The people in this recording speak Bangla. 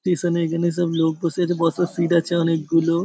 টেসন -এ এখানে সব লোক বসে আছে বসার সিট আছে অনেকগুলো ।